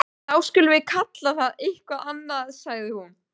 Þá skulum við kalla það eitthvað annað sagði hún.